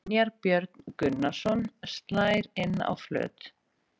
Brynjar Björn Gunnarsson slær inn á flöt.